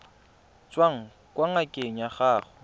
tswang kwa ngakeng ya gago